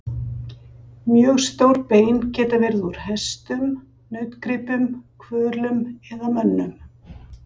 Mjög stór bein geta verið úr hestum, nautgripum, hvölum eða mönnum.